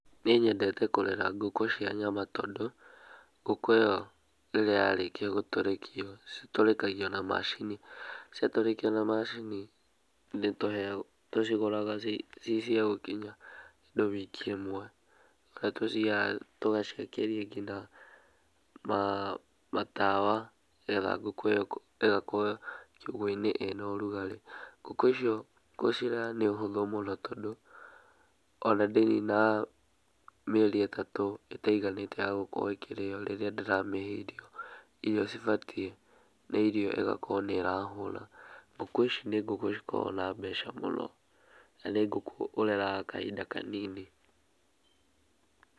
Niĩ nyendete kũrera ngũkũ cia nyama tondũ, ngũkũ ĩyo rĩrĩa yarĩkia gũtũrĩkio citũrĩkagio na macini. Ciatũrĩkio na macini tũcigũraga cĩcia gũkinya kĩndũ wiki ĩmwe, tũgaciakĩria nginya matawa nĩgetha ngũkũ ĩyo ĩgakorwo nginya kiugoinĩ ĩna ũrugarĩ. Ngũkũ icio gũcirera nĩ ũhũthũ mũno tondũ, ona ndĩninaga mĩeri ĩtatũ ĩtaiganĩte yagũkorwo ĩkĩrĩyo, rĩrĩa ndĩramĩhe irio cibatie na irio ĩgakorwo nĩrahũna. Ngũkũ ici nĩ ngũkũ cikoragwo na mbeca mũno, na nĩ ngũkũ ũreraga kahinda kanini.